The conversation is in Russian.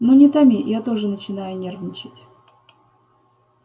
ну не томи я тоже начинаю нервничать